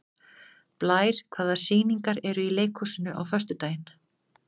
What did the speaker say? Blær, hvaða sýningar eru í leikhúsinu á föstudaginn?